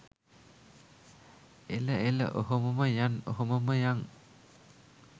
එල එල ඔහොමම යන් ඔහොමම යන්.